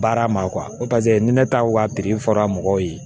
Baara ma paseke ni ne taw ka fɔra mɔgɔw ye